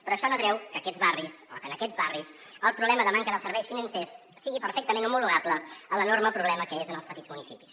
però això no treu que aquests barris o que en aquests barris el problema de manca dels serveis financers sigui perfectament homologable a l’enorme problema que és en els petits municipis